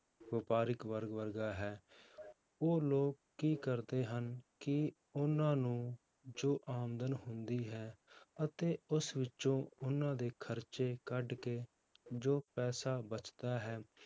ਵਪਾਰਿਕ ਵਰਗ ਵਰਗਾ ਹੈ, ਉਹ ਲੋਕ ਕੀ ਕਰਦੇ ਹਨ, ਕਿ ਉਹਨਾਂ ਨੂੰ ਜੋ ਆਮਦਨ ਹੁੰਦੀ ਹੈ ਅਤੇ ਉਸ ਵਿੱਚੋਂ ਉਹਨਾਂ ਦੇ ਖ਼ਰਚੇ ਕੱਢ ਕੇ ਜੋ ਪੈਸਾ ਬਚਦਾ ਹੈ